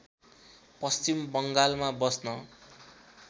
पश्चिम बङ्गालमा बस्न